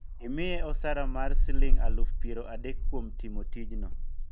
imiye osara mar siling alufu piero adek kuom timo tijno